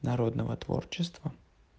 народного творчества